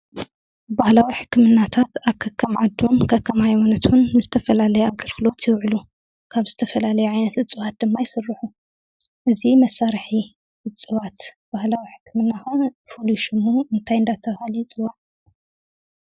ባህላዊ ሕክምናታት ኣብ ከከም ዓዱን፣ ከም ከም ሃይማኖቱን ንዝተፈላለየ ኣገልግሎት ይውዕሉ፡፡ ካብ ዝተፈላለየ ዓይነት እፅዋት ድማ ይስርሑ፡፡ እዚ መሳርሒ እፅዋት ባህላዊ ሕክምና ከዓ ፍሉይ ሽሙ እንታይ እናተባህለ ይፅዋዕ?